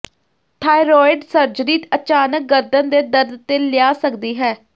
thyroid surgery ਅਚਾਨਕ ਗਰਦਨ ਦੇ ਦਰਦ ਤੇ ਲਿਆ ਸਕਦੀ ਹੈ